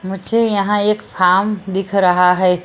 मुझे यहां एक फॉर्म दिख रहा है।